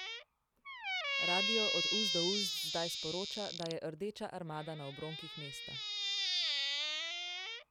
Radio Od ust do ust zdaj sporoča, da je Rdeča armada na obronkih mesta.